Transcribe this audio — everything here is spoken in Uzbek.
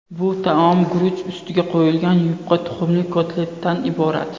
Bu taom guruch ustiga qo‘yilgan yupqa tuxumli kotletdan iborat.